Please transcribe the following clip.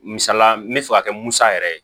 Misala n bɛ fɛ ka kɛ musa yɛrɛ ye